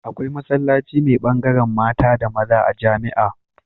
Akwai masallaci me bangaran mata da maza a jamia